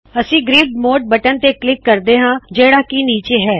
ਅਸੀ grid mode button ਤੇ click ਕਰਦੇ ਹਾੰ ਜਿਹੜਾ ਕੀ ਨੀਚੇ ਹੈ